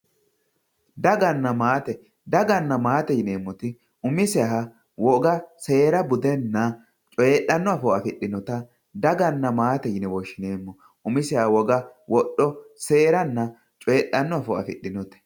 daganna maate daganna maate yineemmoti umiseha woga seera budenna coyiidhanno afoo afidhinota daganna maate yine woshshineemmo umiseha woga wodho seeranna coyiidhanno afoo afidhinote.